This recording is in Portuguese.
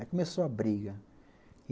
Aí começou a briga.